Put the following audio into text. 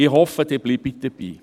Ich hoffe, Sie bleiben dabei.